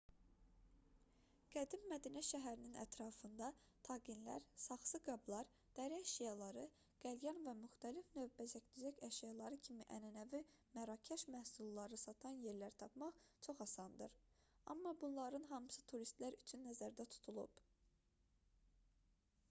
qədim mədinə şəhərinin ətrafında taqinlər saxsı qablar dəri əşyaları qəlyan və müxtəlif növ bəzək-düzək əşyaları kimi ənənəvi mərakəş məhsulları satan yerlər tapmaq çox asandır amma bunların hamısı turistlər üçün nəzərdə tutulub